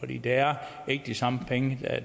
det er ikke de samme penge